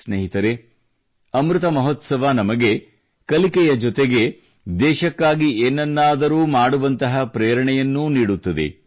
ಸ್ನೇಹಿತರೆ ಅಮೃತ ಮಹೋತ್ಸವ ನಮಗೆ ಕಲಿಕೆಯ ಜೊತೆಗೆ ದೇಶಕ್ಕಾಗಿ ಏನನ್ನಾದರೂ ಮಾಡುವಂತಹ ಪ್ರೇರಣೆಯನ್ನೂ ನೀಡುತ್ತದೆ